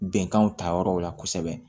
Bɛnkanw ta yɔrɔw la kosɛbɛ